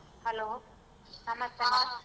Hello ನಮಸ್ತೆ .